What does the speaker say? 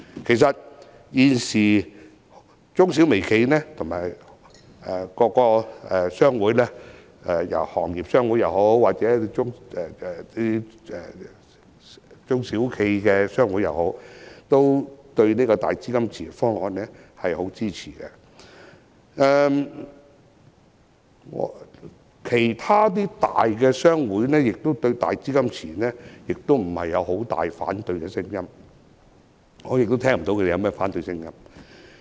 其實，現時中小微企的各大商會包括行業商會和中小企商會，均十分支持"大基金池"方案。其他大商會亦對"大基金池"沒有太大的反對聲音，而我亦聽不到他們有反對的聲音。